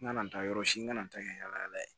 N kana n taa yɔrɔ si n ka na n ta kɛ yaala yaala ye